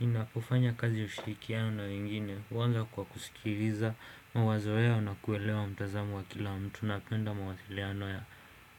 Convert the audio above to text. Ninapofanya kazi ushirikiano na wengine huanza kwa kusikiliza mawazo yao na kuelewa mtazamo wa kila mtu. Napenda mawazo ya